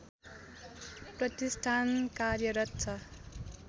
प्रतिष्ठान कार्यरत छ